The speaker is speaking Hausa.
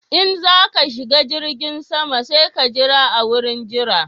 In za ka shiga jirgin sama sai ka jira a wurin jira